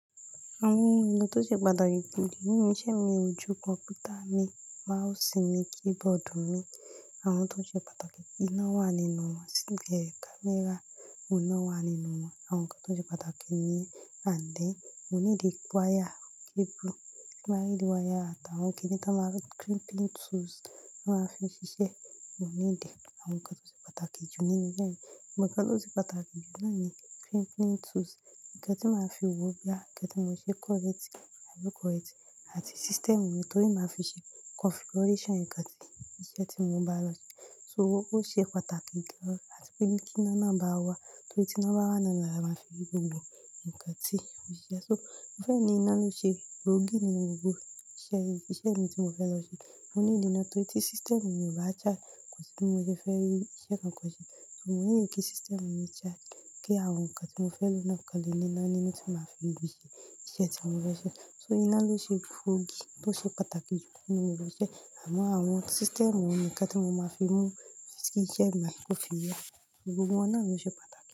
Àwọn ohun èlò tó ṣe pàtàkì jù ní ilé-iṣẹ́ mi, ojú kọ̀mpútà mi, mouse mi, keyboard mi, àwọn tó ṣe pàtàkì kí iná wà nínú wọn, speaker, camera, òun náà wà nínú wọn, àwọn nǹkan tó ṣe pàtàkì ni. Àdíẹ, mo nílò wire, cable, láìsí wire àtàwọn kíni tí a máa ń rí, crimping tools tí a máa fi ṣiṣẹ́, mo needie àwọn nǹkan tó ṣe pàtàkì jù nínú yẹn. Òǹkà tó ṣe pàtàkì jù láàárín crimping tools, ǹkan tí màá fi wò ó bí àti ǹkan tí màá ṣe correct, àbió correct àti system rẹ̀ torí màá fi ṣe configuration ǹkan tí iṣẹ́ tí mo bá lọ ṣe. So ó ṣe pàtàkì jù, àti pé kí iná náà bá wà torí tí iná bá wà nínú rẹ̀ la máa fi gbogbo ǹkan tí a ó ṣe. So iná ló ṣe gbóògì nínú gbogbo iṣẹ́ yìí, iṣẹ́ mi tí mo fẹ́ lọ ṣe. Mo nílò iná torí tí system mi ò bá charge kò sí bí mo ṣe fẹ́ rí iṣẹ́ kan kàn ṣe. So need ní kí system mi charge, kí àwọn nǹkan tí mo fẹ́ lò náà kọ́lé nínú iná nìyẹn tí màá fi lò ṣe iṣẹ́ tí mo fẹ́ ṣe. So iná ló ṣe gbóògì tó ṣe pàtàkì jù nínú ìlọ sí iṣẹ́. Àmọ́ àwọn system, àwọn ǹkan tí mo máa fi mú kí iṣẹ́ máa tó fi yẹ, gbogbo wọ́n náà ló ṣe pàtàkì.